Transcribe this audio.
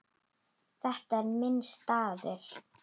Þetta er minn staður.